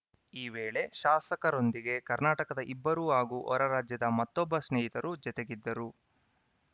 ಈ ವೇಳೆ ಶಾಸಕರೊಂದಿಗೆ ಕರ್ನಾಟಕದ ಇಬ್ಬರು ಹಾಗೂ ಹೊರರಾಜ್ಯದ ಮತ್ತೊಬ್ಬ ಸ್ನೇಹಿತರು ಜತೆಗಿದ್ದರು